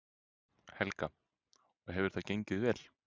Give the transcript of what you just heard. Helga: Og hefur það gengið vel?